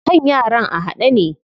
Kan yaran a haɗe ne.